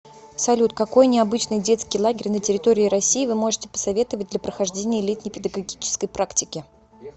салют какой необычный детский лагерь на территории россии вы можете посоветовать для прохождения летней педагогической практики